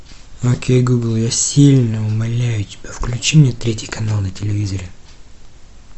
окей гугл я сильно умоляю тебя включи мне третий канал на телевизоре